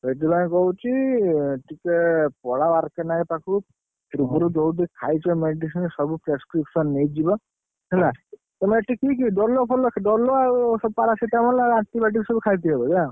ସେଥିପାଇଁ କହୁଛି ଟିକେ ପଳାଅ ପାଖୁକୁ। ପୂର୍ବରୁ ଯୋଉ ଯୋଉ ଖାଇଛ medicine ସବୁ ନେଇକି ଯିବ। ହେଲା। ତମେ ଏଠି କିଏ କିଏ medicine ସବୁ ଖାଇଥିବ ବୋଧେ ନା? ହଁ, ଏଇ ଡୋଲୋ ଫୋଲୋ ସବୁ ଖାଇଦେଇଛି।